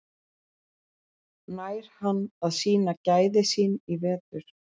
Nær hann að sýna gæði sín í vetur?